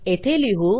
येथे लिहू